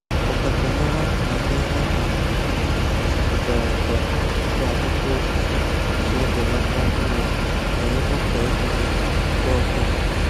Ọkachamara maka ihe um ubi gosiputara ka ibe akwụkwọ osisi si ebelata ọrịa ma emekwa ka ikuku ga ọfuma